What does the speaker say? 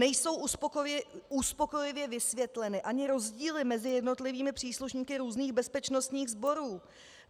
Nejsou uspokojivě vysvětleny ani rozdíly mezi jednotlivými příslušníky různých bezpečnostních sborů.